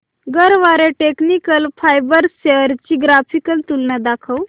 Garware technical fibres shares ची graphical तुलना दाखव